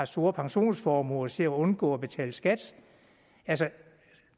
store pensionsformuer til at undgå at betale skat